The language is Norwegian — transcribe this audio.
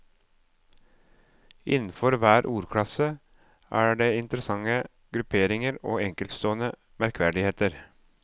Innenfor hver ordklasse er det interessante grupperinger og enkeltstående merkverdigheter.